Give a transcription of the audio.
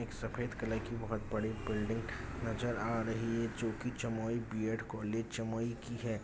एक सैफद कलर की बोहोत बड़ी बिल्डिंग नजर आ रही है जो की जमुई बी_एड कॉलेज जमुई की है।